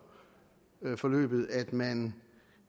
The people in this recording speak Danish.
forløbet at man